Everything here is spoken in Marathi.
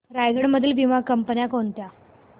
रायगड मधील वीमा कंपन्या कोणत्या